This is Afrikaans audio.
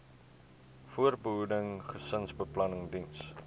voorbehoeding gesinsbeplanning diens